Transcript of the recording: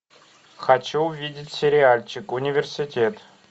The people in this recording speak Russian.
хочу увидеть сериальчик университет